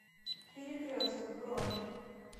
перекресток бронь